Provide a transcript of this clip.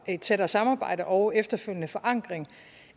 et tættere samarbejde og efterfølgende forankring